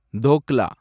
dhokla